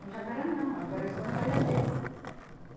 Mas agora não, agora é só dar uma olhadeira.